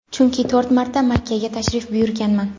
chunki to‘rt marta Makkaga tashrif buyurganman.